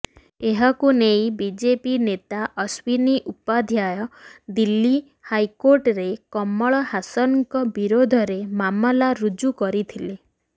ଏହାକୁ ନେଇ ବିଜେପି ନେତା ଅଶ୍ୱୀନୀ ଉପାଧ୍ୟାୟ ଦିଲ୍ଲୀ ହାଇକୋର୍ଟରେ କମଲ ହାସନଙ୍କ ବିରୋଧରେ ମାମଲା ରୁଜୁ କରିଥିଲେ